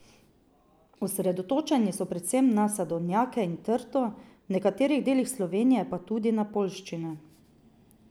Osredotočeni so predvsem na sadovnjake in trto, v nekaterih delih Slovenije pa tudi na poljščine.